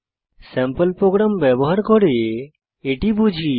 sample program ব্যবহার করে এটি বুঝি